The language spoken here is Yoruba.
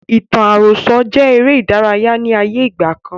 Ìtàn àròsọ jẹ eré ìdárayá ni ayé ìgbàkan.